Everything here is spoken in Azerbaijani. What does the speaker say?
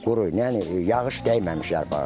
Quru, yəni yağış dəyməmiş yarpaq.